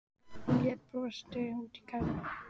Hún leit brosandi út í garðinn.